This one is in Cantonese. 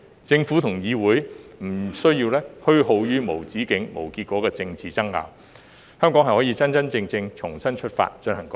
政府和議會不用虛耗於無止境、無結果的政治爭拗，香港可以真真正正重新出發，進行改革。